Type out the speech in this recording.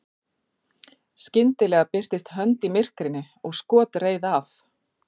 skyndilega birtist hönd í myrkrinu og skot reið af